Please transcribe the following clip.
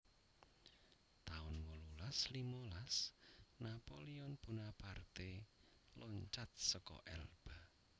taun wolulas limolas Napoleon Bonaparte loncat seka Elba